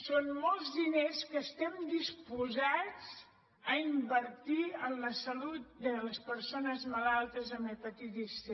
són molts diners que estem disposats a invertir en la salut de les persones malaltes amb hepatitis c